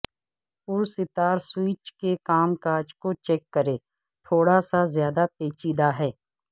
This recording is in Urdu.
پرستار سوئچ کے کام کاج کو چیک کریں تھوڑا سا زیادہ پیچیدہ ہے